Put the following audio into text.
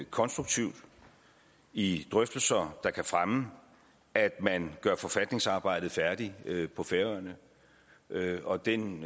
konstruktivt i drøftelser der kan fremme at man gør forfatningsarbejdet færdigt på færøerne og den